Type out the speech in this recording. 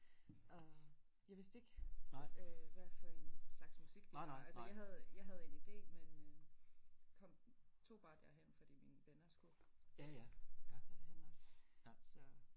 Og jeg vidste ikke hvad for en slags musik de lavede altså jeg havde jeg havde en idé men øh kom tog bare derhen fordi mine venner skulle dér hen også så